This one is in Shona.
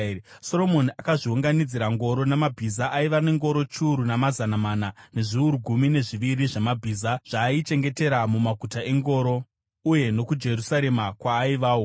Soromoni akazviunganidzira ngoro namabhiza; aiva nengoro chiuru namazana mana, nezviuru gumi nezviviri zvamabhiza, zvaaichengetera mumaguta engoro uye nokuJerusarema kwaaivawo.